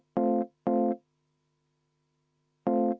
Vaheaeg kümme minutit.